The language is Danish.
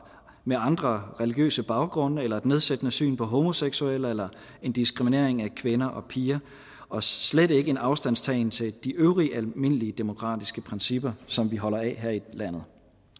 med andre religiøse baggrunde eller et nedsættende syn på homoseksuelle eller en diskriminering af kvinder og piger og slet ikke en afstandstagen til de øvrige almindelige demokratiske principper som vi holder af her i landet